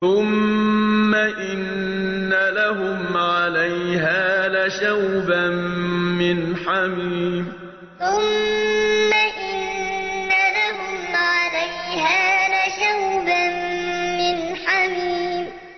ثُمَّ إِنَّ لَهُمْ عَلَيْهَا لَشَوْبًا مِّنْ حَمِيمٍ ثُمَّ إِنَّ لَهُمْ عَلَيْهَا لَشَوْبًا مِّنْ حَمِيمٍ